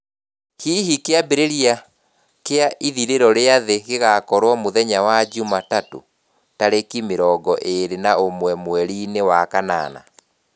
Hihi kĩambĩrĩria kĩa ithirĩro rĩa thĩ gĩgaakorũo mũthenya wa njumatatũ, tarĩki mĩrongo ĩrĩ na ũmwe mweri-inĩ wa kanana?